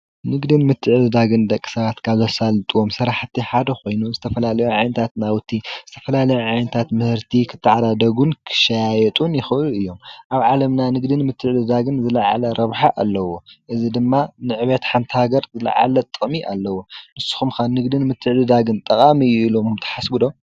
ንግድን ምትዕድዳግን ደቂ ሰባት ካብ ዘሳልጥዎም ስርሓቲ ሓደ ኮይኑ ዝተፈላለዩ ዓይነታት ናዉቲ ዝተፈላለየ ዓይነታት ምህርቲ ክተዓዳደጉ ክሸያየጡ ይክእሉ እዮም፤ ኣብ ዓለምና ንግዲ ምትዕድዳግን ዝለዓለ ረብሓ ኣለዎ፤ እዚ ድማ ንዕብየት ሓንቲ ሃገር ዝለዓል ጥቅሚ ኣለዎ። ንስኩም ከ ንግድን ምትዕድዳግን ጠቃሚ እዩ ኢልኩም ትሓስቡ ዶ?